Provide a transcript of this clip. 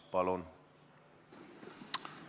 Palun!